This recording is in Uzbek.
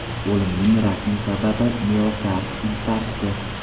O‘limning rasmiy sababi miokard infarkti.